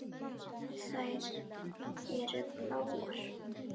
Þær eru bláar.